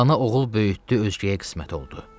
Ana oğul böyütdü özgəyə qismət oldu.